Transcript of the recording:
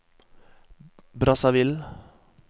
Brazzaville